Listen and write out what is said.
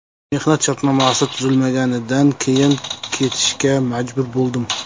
Mehnat shartnomasi tuzilmaganidan keyin ketishga majbur bo‘ldim.